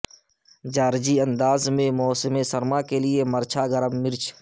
جارجی انداز میں موسم سرما کے لئے مرچھا گرم مرچ